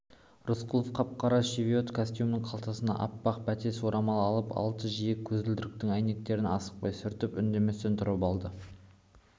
рысқұлов қап-қара шевиот костюмінің қалтасынан аппақ бәтес орамал алып алтын жиек көзілдіріктің әйнектерін асықпай сүртіп үндеместен тұрып алды